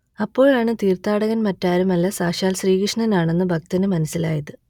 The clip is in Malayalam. അപ്പോഴാണ് തീർത്ഥാടകൻ മറ്റാരുമല്ല സാക്ഷാൽ ശ്രീകൃഷ്ണനാണെന്ന് ഭക്തന് മനസ്സിലായത്